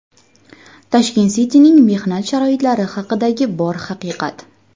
Tashkent City’ning mehnat sharoitlari haqidagi bor haqiqat.